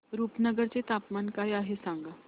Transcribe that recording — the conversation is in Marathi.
रुपनगर चे तापमान काय आहे सांगा